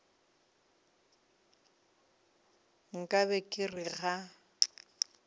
nka be ke re ga